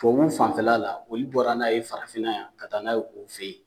Tubabu fanfɛla la olu bɔra n'a ye farafinna yan, ka taa n'a ye o fe yen.